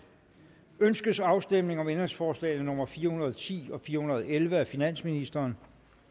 ønskes afstemning om ændringsforslag nummer fire hundrede og ti og fire hundrede og elleve af finansministeren